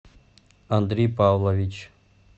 андрей павлович